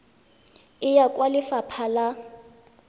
e ya kwa lefapha la